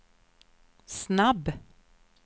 snabb